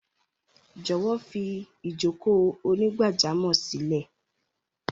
Jọ̀wọ́ fi ìjókòó onígbájámò sílẹ̀!